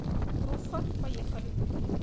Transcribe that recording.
труффо поехали